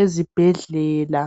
ezibhedlela.